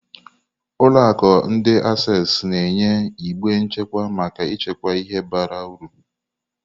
Ụlọ akụ ndi Access na-enye igbe nchekwa maka ịchekwa ihe bara uru.